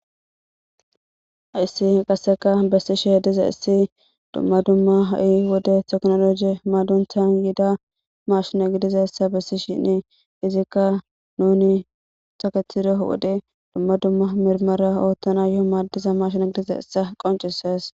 Hayssi qasseka bessishshe dizayssi dumma dumma ha'i wode tekinoloje madunththan yiida mashshine gidizayssa bessishshinnee izikka nuni taketide wode dumma dumma mirmara oottanayoo maaddiza marshina gidizayssa qoncisees